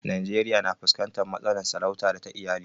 Najeriya na fuskantar matsalar sarauta da ta iyali.